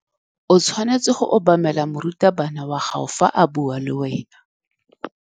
O tshwanetse go obamela morutabana wa gago fa a bua le wena.